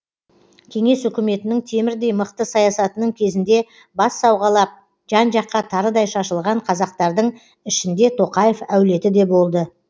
кеңес үкіметінің темірдей мықты саясатының кезінде бас сауғалап жан жаққа тарыдай шашылған қазақтардың ішінде тоқаев әулеті де болды